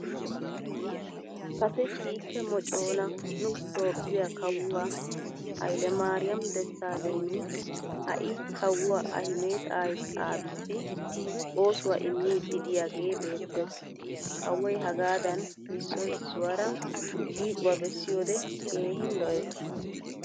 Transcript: Kase kiike moconaa nu toophphiya kawuwaa hailemaariyaam desaalegni hai kawuwa Ahmeda aabiyissi oosuwa immiiddi diyagee beettes. Kawoy hagaadan issoy issuwaara shiiquwaa bessiyoode keehin lo'ees.